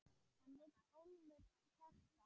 Hann vill ólmur hjálpa.